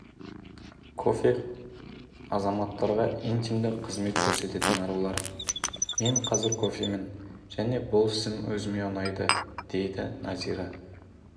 кофе азаматтарға интимді қызмет көрсететін арулар мен қазір кофемін және бұл ісім өзіме ұнайды дейді назира